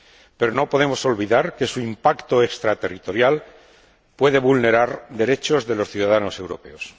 Pero no podemos olvidar que su impacto extraterritorial puede vulnerar derechos de los ciudadanos europeos.